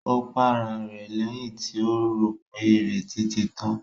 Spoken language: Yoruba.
Ó para rẹ̀ lẹ́yìn tí rò pé ìrètí ti tán.